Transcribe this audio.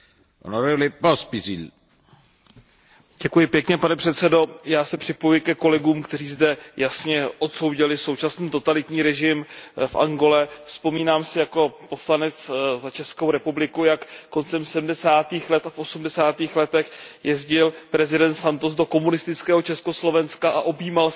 Pane předsedající, já se připojuji ke kolegům, kteří zde jasně odsoudili současný totalitní režim v Angole. Vzpomínám si jako poslanec za Českou republiku, jak koncem sedmdesátých let a v osmdesátých letech jezdil prezident Santos do komunistického Československa a objímal se s tehdejšími komunistickými představiteli totalitní